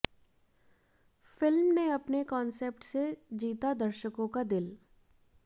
film ने अपने concept से जीता दर्शकों का दिल